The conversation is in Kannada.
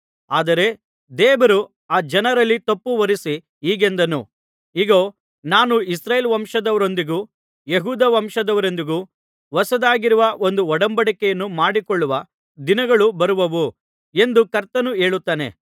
ಆದರೆ ದೇವರು ಆ ಜನರಲ್ಲಿ ತಪ್ಪು ಹೊರಿಸಿ ಹೀಗೆಂದನು ಇಗೋ ನಾನು ಇಸ್ರಾಯೇಲ್ ವಂಶದವರೊಂದಿಗೂ ಯೆಹೂದ ವಂಶದವರೊಂದಿಗೂ ಹೊಸದಾಗಿರುವ ಒಂದು ಒಡಂಬಡಿಕೆಯನ್ನು ಮಾಡಿಕೊಳ್ಳುವ ದಿನಗಳು ಬರುವವು ಎಂದು ಕರ್ತನು ಹೇಳುತ್ತಾನೆ